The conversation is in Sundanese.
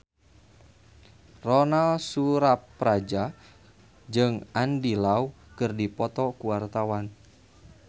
Ronal Surapradja jeung Andy Lau keur dipoto ku wartawan